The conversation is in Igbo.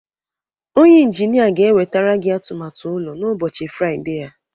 Onye Injinia ga-ewetara gị atụmatụ ụlọ n'ụbọchị Fraịde a